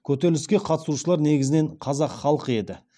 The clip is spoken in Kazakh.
көтеріліске қатысушылар негізінен қазақ халқы еді